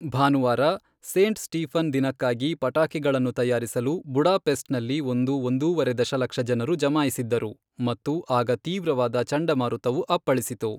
ಭಾನುವಾರ, Saint Stephen ದಿನಕ್ಕಾಗಿ ಪಟಾಕಿಗಳನ್ನು ತಯಾರಿಸಲು ಬುಡಾಪೆಸ್ಟ್ನಲ್ಲಿ ಒಂದು ಒಂದೂವರೆ ದಶಲಕ್ಷ ಜನರು ಜಮಾಯಿಸಿದ್ದರು ಮತ್ತು ಆಗ ತೀವ್ರವಾದ ಚಂಡಮಾರುತವು ಅಪ್ಪಳಿಸಿತು.